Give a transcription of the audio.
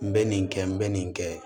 N bɛ nin kɛ n bɛ nin kɛ